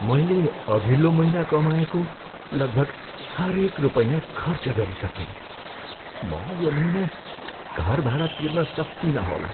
मैले अघिल्लो महिना कमाएको लगभग हरेक रुपैयाँ खर्च गरिसकेँ। म यो महिना घर भाडा तिर्न सक्तिनँ होला।